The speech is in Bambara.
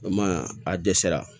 O ma a dɛsɛra